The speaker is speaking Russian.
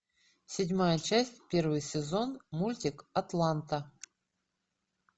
седьмая часть первый сезон мультик атланта